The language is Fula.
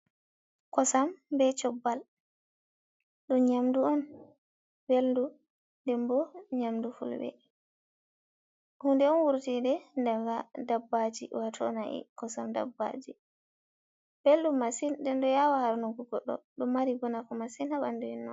Kosam be cobbal dum nyamdu on beldu dembo nyamdu fulbe. Hunde on wurtide ɗaga dabbaji watonai kosam dabbaji, beldu masin, den do yawa harnugu goɗɗo. Ɗo mari bo nafu masin ha bandu